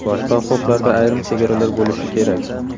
Boshqa huquqlarda ayrim chegaralar bo‘lishi kerak.